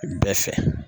Bɛɛ fɛ